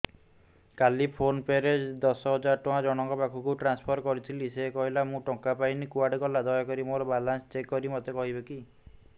କାଲି PhonePe ରେ ଦଶ ହଜାର ଟଙ୍କା ଜଣକ ପାଖକୁ ଟ୍ରାନ୍ସଫର୍ କରିଥିଲି ସେ କହିଲା ମୁଁ ଟଙ୍କା ପାଇନି କୁଆଡେ ଗଲା ଦୟାକରି ମୋର ବାଲାନ୍ସ ଚେକ୍ କରି ମୋତେ କହିବେ କି